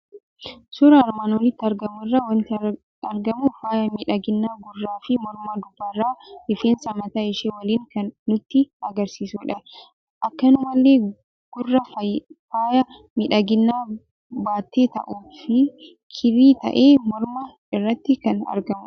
Suuraa armaan olitti argamu irraa waanti argamu faayaa miidhaginaa gurrafi morma dubaraa rifeensa mataa ishee waliin kan nutti agarsiisudha. Akkanumallee gurra faayaa miidhaginaa baatee taa'uufi kirrii ta'e morma irratti kan argmudha.